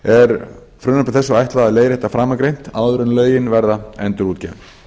er frumvarpi þessu ætlað að leiðrétta framangreint áður en lögin verða endurútgefin